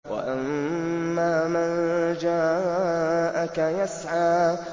وَأَمَّا مَن جَاءَكَ يَسْعَىٰ